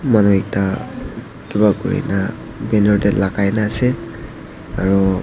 Manu ekta kiba kurina banner dae lagai na ase aro--